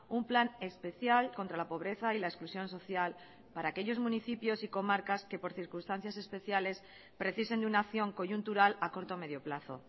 un plan especial contra la pobreza y la exclusión social para aquellos municipios y comarcas que por circunstancias especiales precisen de una acción coyuntural a corto medio plazo